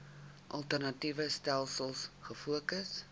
alternatiewe stelsels gefokus